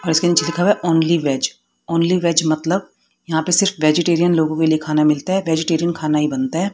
और इसके नीचे लिखा है ओनली वेज ओनली वेज मतलब यहां पे सिर्फ वेजीटेरियन लोगों के लिए खाना मिलता है वेजीटेरियन खाना ही बनता है।